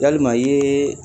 Yalima i yee